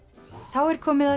þá er komið að